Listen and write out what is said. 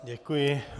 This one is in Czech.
Děkuji.